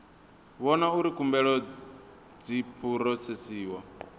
vhona uri khumbelo dzi phurosesiwa